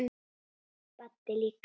Baddi líka.